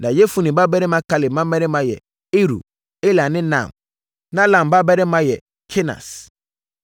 Na Yefune babarima Kaleb mmammarima yɛ Iru, Ela ne Naam. Na Ela babarima yɛ Kenas.